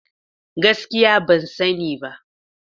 Gaskiya ban sani ba.